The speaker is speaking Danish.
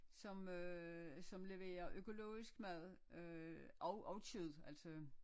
Som øh som lever økologisk mad og og kød altså